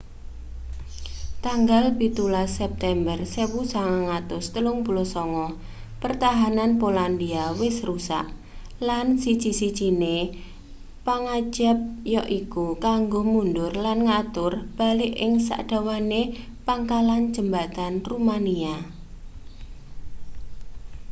tanggal 17 september 1939 pertahanan polandia wis rusak lan siji-sijine pangajab yaiku kanggo mundur lan ngatur balik ing sadawane pangkalan jembatan rumania